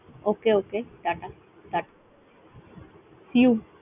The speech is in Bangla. Okay, okay টাটা টা see you ।